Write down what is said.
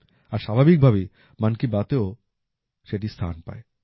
আর স্বাভাবিকভাবেই মন কি বাতেও সেটি স্থান পায়